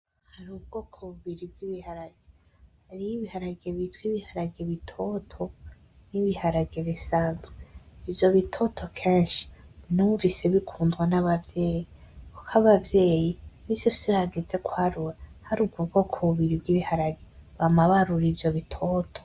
Hari ubwoko bubiri bw'ibiharage hariho ibiharage bita ibiharage bitoto n'ibiharage bisanzwe ivyo bitoto kenshi numvise bikundwa n'abavyeyi kuko abavyeyi minsi yose iyo hageze kwarura hari ubwo bwoko bubiri bw'ibiharage bama barura ivyo bitoto.